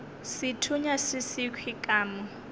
sethunya se sekhwi ka mo